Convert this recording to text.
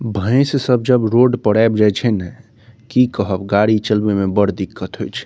भैंस सब जब रोड पर आईब जाय छै ने कि कहब गाड़ी चलबे में बड़ दिक्कत होय छै।